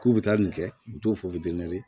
K'u bɛ taa nin kɛ u t'u fɔ